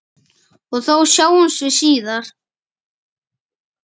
Og þá sjáumst við síðar!